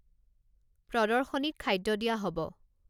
প্ৰদৰ্শনীত খাদ্য দিয়া হ'ব